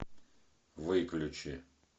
выключи